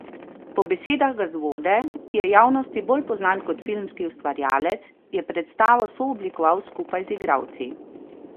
Po besedah Gazvode, ki je javnosti bolj poznan kot filmski ustvarjalec, je predstavo sooblikoval skupaj z igralci.